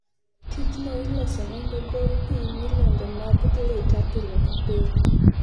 Tijno iloso nondoogol pii milionde mag lita pile ka pile.